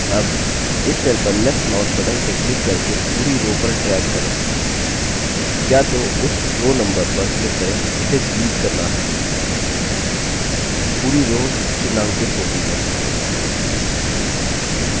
अब इस cell पर left mouse button से click करके पूरी row पर drag करें या तो उस row number पर click करें जिसे डिलीट करना है पूरी row चिन्हांकित होती है